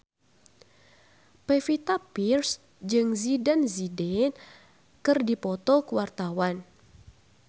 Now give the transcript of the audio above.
Pevita Pearce jeung Zidane Zidane keur dipoto ku wartawan